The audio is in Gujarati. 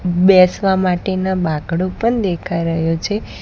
બેસવા માટેનો બાંકડો પણ દેખાય રહ્યો છે.